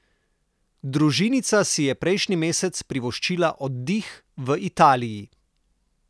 Družinica si je prejšnji mesec privoščila oddih v Italiji.